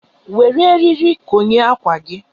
Were eriri konye ákwà gị.